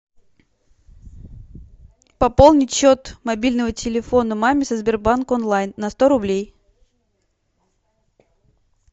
пополнить счет мобильного телефона маме со сбербанк онлайн на сто рублей